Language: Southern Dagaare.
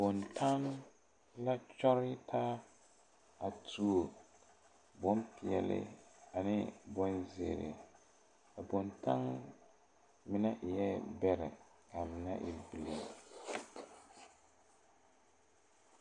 Boŋtan la kyɔg taa a tuo boŋpeɛli ane boŋzèèri a boŋtan mine eɛ bɛrɛ kaa mine e bilii .